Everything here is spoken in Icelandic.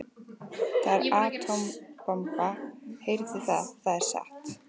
Það er atómbomban, heyrið þið það, það er satt.